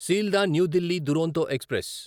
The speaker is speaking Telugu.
Sealdah New Delhi Duronto express